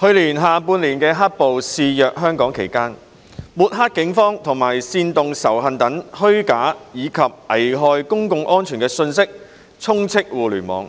去年下半年"黑暴"肆虐香港期間，抹黑警方和煽動仇恨等虛假及危害公共安全的信息充斥互聯網，